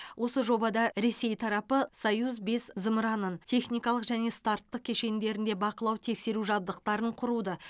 осы жобада ресей тарапы союз бес зымыранды техникалық және старттық кешендерінде бақылау тексеру жабдықтарын құруды